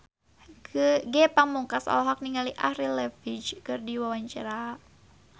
Ge Pamungkas olohok ningali Avril Lavigne keur diwawancara